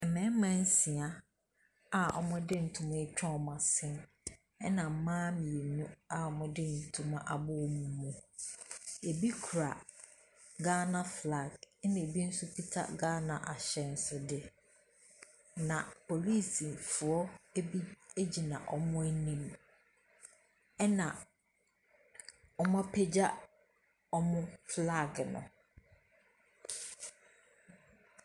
Mmɛɛma nsia a ɔmo de ntoma atwa ɔmo ase ɛna mmaa mmienu a ɔmo de ntoma abɔ ɔmo mu. Ɛbi kura Gaana flag ɛna ɛbi nso kuta Gaana ahyɛnsodeɛ na poliisifoɔ ɛbi ɛgyina ɔmo anim ɛna ɔmapagya flag no.